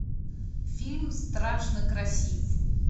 фильм страшно красив